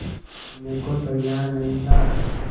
करने को तैयार नहीं था